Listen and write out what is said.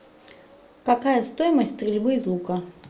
какая стоимость стрельбы из лука